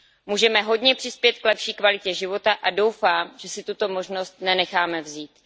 Můžeme hodně přispět k lepší kvalitě života a doufám, že si tuto možnost nenecháme vzít.